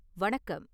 வணக்கம்